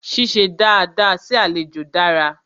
Ṣíṣe dada sí àlejò dára.